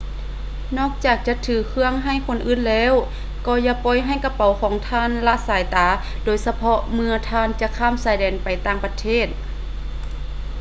ນອກຈາກຈະຖືເຄື່ອງໃຫ້ຄົນອື່ນແລ້ວ ກໍຢ່າປ່ອຍໃຫ້ກະເປົ໋າຂອງທ່ານລະສາຍຕາ ໂດຍສະເພາະເມື່ອທ່ານຈະຂ້າມຊາຍແດນໄປຕ່າງປະເທດ